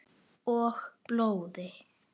Og blóði.